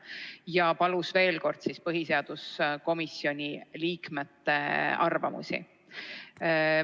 Ta palus veel kord põhiseaduskomisjoni liikmete arvamusi.